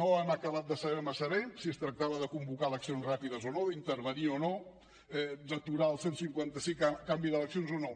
no hem acabat de saber massa bé si es tractava de convocar eleccions ràpides o no d’intervenir o no d’aturar el cent i cinquanta cinc a canvi d’eleccions o no